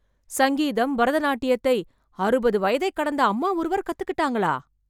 சங்கீதம், பரதநாட்டியத்தை, அறுபது வயதைக் கடந்த அம்மா ஒருவர் கத்துக்கிட்டாங்களா...